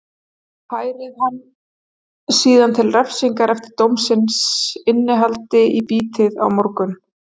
Færið hann síðan til refsingar eftir dómsins innihaldi í bítið á morgun.